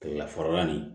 Kilela fɔrɔla nin